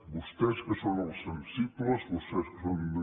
vostès que són els sensibles vostès que són